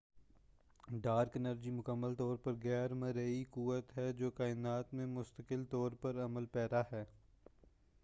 dark energy مکمل طور پر غیر مرئی قوت ہے جو کائنات میں مستقل طور پر عمل پیرا ہے